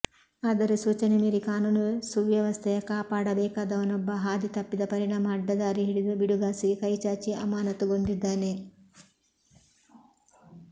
ಆದರೆ ಸೂಚನೆ ಮೀರಿ ಕಾನೂನು ಸುವ್ಯವಸ್ಥೆಯ ಕಾಪಾಡಬೇಕಾದವನೊಬ್ಬ ಹಾದಿ ತಪ್ಪಿದ ಪರಿಣಾಮ ಅಡ್ಡದಾರಿ ಹಿಡಿದು ಬಿಡುಗಾಸಿಗೆ ಕೈಚಾಚಿ ಅಮಾನತ್ತುಗೊಂಡಿದ್ದಾನೆ